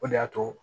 O de y'a to